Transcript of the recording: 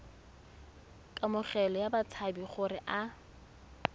kamogelo ya batshabi gore a